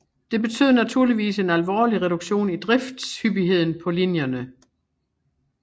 Det betød naturligvis en alvorlig reduktion i driftshyppigheden på linjerne